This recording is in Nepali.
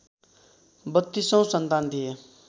बत्तीसौँ सन्तान थिए